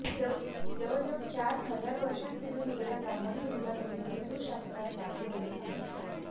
जवळ जवळ चार हजार वर्षांपूर्वी लिहलेल्या ब्राह्मण ग्रंथातही वास्तुशास्त्राचा उल्लेख आहे